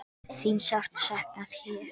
Þín er sárt saknað hér.